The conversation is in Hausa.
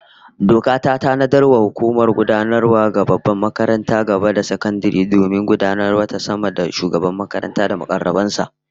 Doka ta tanadar da hukumar gudanarwa ga babbar makarantar gaba da sakandare domin gudanarwavta sama da Shugaban makaranta da mukarraban sa